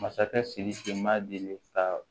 Masakɛ sidiki ma deli ka